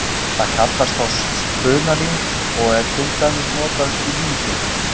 Það kallast þá spunalín og er til dæmis notað í líndúka.